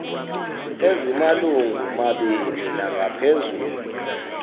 ezimalungu mabini nangaphezulu